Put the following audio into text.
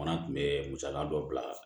Fana tun bɛ musaka dɔ bila